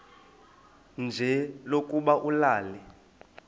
nje lokuba ulale